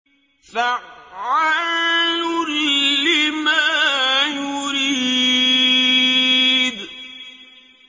فَعَّالٌ لِّمَا يُرِيدُ